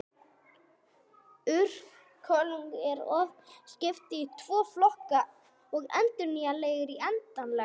Orkulindum er oft skipt í tvo flokka, endurnýjanlegar og endanlegar.